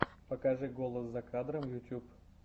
покажи голос за кадром ютуб